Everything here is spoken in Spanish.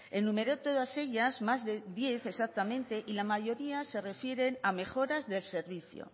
enumerar todas ellas más de diez exactamente y la mayoría se refieren a mejoras del servicio